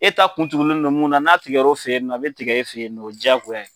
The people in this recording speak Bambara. E ta kun tugunen do mun na n'a tigɛr'o fɛ yen nɔ a bɛ tigɛ e fɛ yen nɔ o jaagoya ye.